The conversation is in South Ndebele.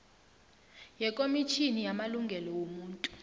yekomitjhini yamalungelo wobuntu